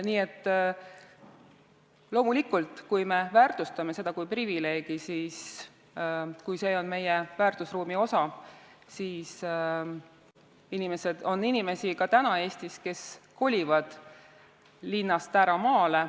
Nii et loomulikult, kui me väärtustame seda kui privileegi, kui see on meie väärtusruumi osa, siis kolivad inimesed ka praegu Eestis linnast ära maale.